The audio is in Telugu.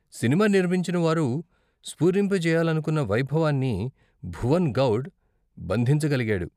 సినిమా నిర్మించిన వారు స్ఫురింపజేయాలనుకున్న వైభవాన్ని భువన్ గౌడ్ బంధించగలిగాడు.